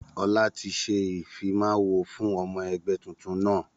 Ọlá tí ṣe ìfimawo fún ọmọ ẹgbẹ́ tuntun náà.